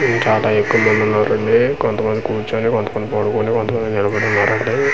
చాలా ఎక్కువ మంది ఉన్నారండి కొంత మంది కూర్చొని కొంత మంది పడుకొని కొంత నిలబడి ఉన్నారండి.